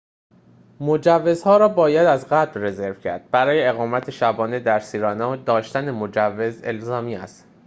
مجوزها را باید از قبل رزرو کرد برای اقامت شبانه در سیرنا داشتن مجوز الزامی است